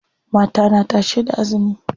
Mata na tashe da azumi.